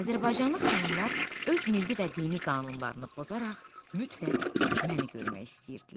Azərbaycanlı xanımlar öz milli və dini qanunlarını pozaraq mütləq məni görmək istəyirdilər.